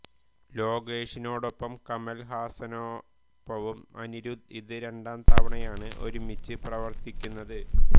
ലോകേഷിനോടൊപ്പവും കമൽ ഹാസനൊപ്പവും അനിരുദ്ധ് ഇത് രണ്ടാം തവണയാണ് ഒരുമിച്ച് പ്രവർത്തിക്കുന്നത്